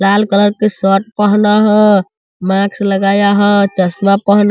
लाल colour के shirt पहना है मास्क लगाया है चश्मा पहना --